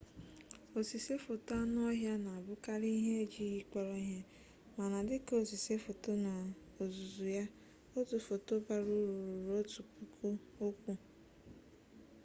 osise foto anụ ọhịa na-abụkarị ihe ejighị kpọrọ ihe mana dị ka osise foto n'ozuzu ya otu foto bara uru ruru otu puku okwu